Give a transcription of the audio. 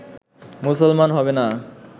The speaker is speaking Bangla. মুসলমান হবে না